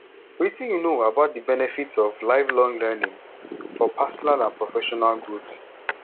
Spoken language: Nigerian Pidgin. wetin you know about di benefits of lifelong learning for personal and professional growth